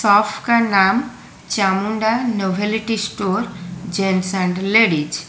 Shop का नाम Chamunda nobility store gents and ladies.